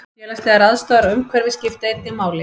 Félagslegar aðstæður og umhverfi skipta einnig máli.